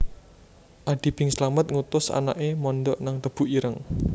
Adi Bing Slamet ngutus anake mondok nang Tebu Ireng